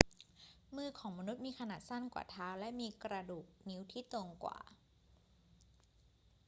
มือของมนุษย์มีขนาดสั้นกว่าเท้าและมีกระดูกนิ้วที่ตรงกว่า